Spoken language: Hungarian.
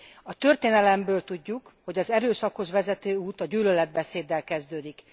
A történelemből tudjuk, hogy az erőszakhoz vezető út a gyűlöletbeszéddel kezdődik.